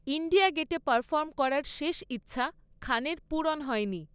India গেটে perform করার শেষ ইচ্ছা খানের পূরণ হয়নি।